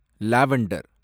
lavender